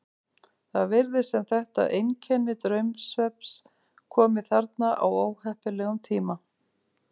Það virðist sem þetta einkenni draumsvefns komi þarna á óheppilegum tíma.